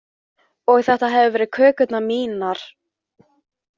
Og þetta hefðu verið kökurnar mínar.